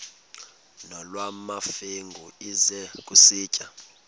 nolwamamfengu ize kusitiya